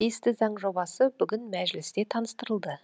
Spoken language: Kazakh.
тиісті заң жобасы бүгін мәжілісте таныстырылды